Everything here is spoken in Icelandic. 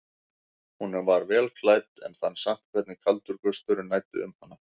Hún var vel klædd en fann samt hvernig kaldur gusturinn næddi um hana.